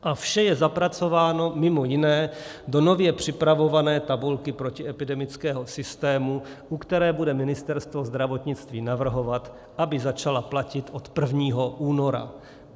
A vše je zapracováno mimo jiné do nově připravované tabulky protiepidemického systému, u které bude Ministerstvo zdravotnictví navrhovat, aby začala platit od 1. února.